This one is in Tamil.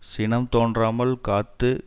சினம் தோன்றாமல் காத்து